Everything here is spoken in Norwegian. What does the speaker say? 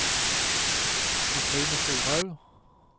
Cathrine Storhaug